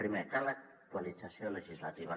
primer cal actualització legislativa